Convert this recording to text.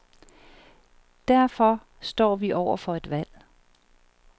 Derfor står vi over for et valg.